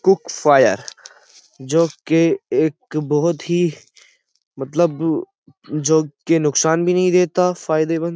cook fire जो के एक बोहोत ही मतलब जो के नुकसान भी नहीं देता फायदे मंद --